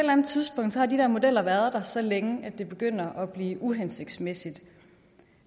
anden tidspunkt har de der modeller være der så længe at det begynder at blive uhensigtsmæssigt